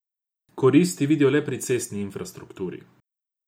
Korist vidijo le pri cestni infrastrukturi.